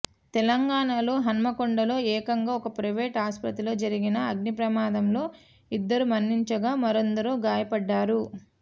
తెలంగాణాలో హన్మకొండలో ఏకంగా ఒక ప్రైవేట్ ఆస్పత్రిలో జరిగిన అగ్నిప్రమాదంలో ఇద్దరు మరణించగా మరెందరో గాయపడ్డారు